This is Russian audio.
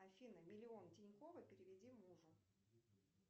афина миллион тинькова переведи мужу